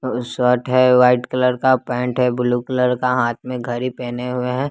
Shirt है white colour का pant है ब्लू कलर का हाथ में घड़ी पहने हुए हैं।